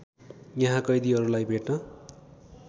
यहाँ कैदीहरूलाई भेट्न